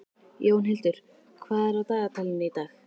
Jónhildur, hvað er á dagatalinu í dag?